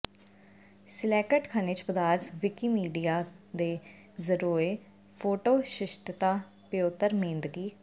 select ਖਣਿਜ ਪਦਾਰਥ Wikimedia ਦੇ ਜ਼ਰੀਏ ਫੋਟੋ ਸ਼ਿਸ਼ਟਤਾ ਪਿਓਤਰ ਮੇਂਦਕੀ